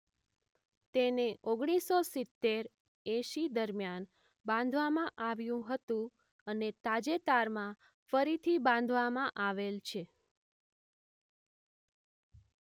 તેને ૧૯૭૦-૮૦ દરમિયાન બાંધવામાં આવ્યું હતું અને તાજેતરમાં ફરીથી બાંધવામાં આવેલ છે.